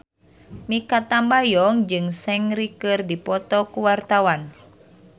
Mikha Tambayong jeung Seungri keur dipoto ku wartawan